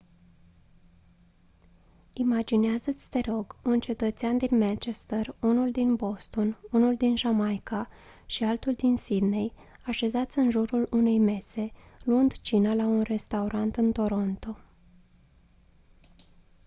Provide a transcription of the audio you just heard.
imaginează-ți te rog un cetățean din manchester unul din boston unul din jamaica și altul din sydney așezați în jurul unei mese luând cina la un restaurant în toronto